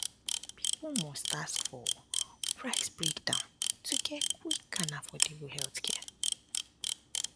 um people must ask um for price um breakdown to get quick and affordable healthcare